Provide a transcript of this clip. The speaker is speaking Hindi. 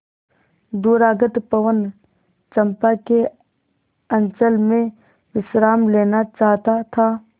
दूरागत पवन चंपा के अंचल में विश्राम लेना चाहता था